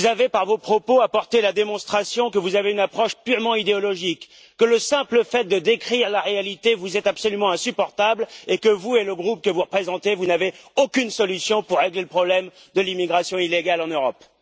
Par vos propos, vous avez apporté la démonstration que votre approche est purement idéologique, que le simple fait de décrire la réalité vous est absolument insupportable et que, vous et le groupe que vous représentez, n'avez aucune solution pour régler le problème de l'immigration illégale en Europe.